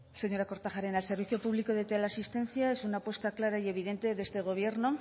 señora kortajarena el servicio público de teleasistencia es una apuesta clara y evidente de este gobierno